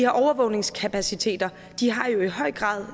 overvågningskapaciteter har jo i høj grad